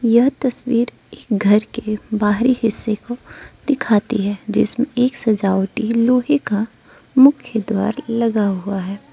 यह तस्वीर एक घर के बाहरी हिस्से को दिखाती है जिसमें एक सजावटी लोहे का मुख्य द्वार लगा हुआ है।